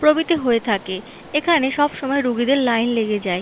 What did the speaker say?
প্রভৃতি হয়ে থাকে এখানে সবসময় রুগীদের লাইন লেগে যায়।